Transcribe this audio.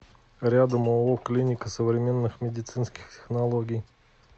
рядом ооо клиника современных медицинских технологий